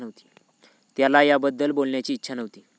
त्याला याबद्दल बोलण्याची इच्छा नव्हती.